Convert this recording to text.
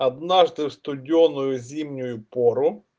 однажды в студёную зимнюю пору